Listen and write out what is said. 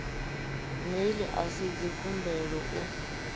mail a si dzikhumbelo u